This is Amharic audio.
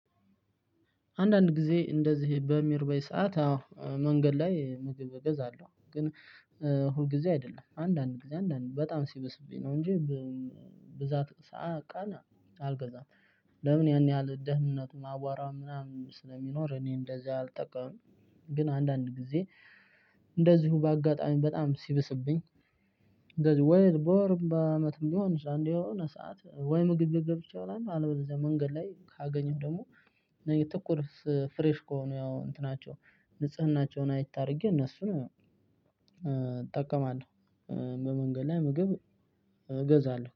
አንዳንድ ጊዜ እንደዚህ በምሪበኝ ሰዓት አዎ መንገድ ላይ ምግብ እገዛለሁ ግን ሁል ጊዜ አይደለም አንድ አንድ ጊዜ አንድ አንድ በጣም ሲበስብኝ ነው እንጂ ብዛት ሰዓት ቀን አልገዛም። ለምን ያን ያህል ደህንነቱን አቧራ ምናምን ስለሚኖር እኔ እንደዚህ አልጠቀምም። ግን አንድ አንድ ጊዜ እንደዚሁ በአጋጣሚ በጣም ስብስብኝ፣ እንደዚሁ በወርም በአመትም ብሆንም አንደ የሆነ ሰዓት ወይ ምግብ ቤት ገብቼ እበላለሁ አለበለዚያ መንገድ ላይ ከአገኘሁ ደግሞ የቱኩርስ ፍረሽ ከሆነ እንትናቸው ንጽህናቸው አየት አሪገ እነሱን እጠቀማለሁ፣ በመንገድ ላይ ምግብ እገዛለሁ።